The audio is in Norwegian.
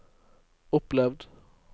opplevd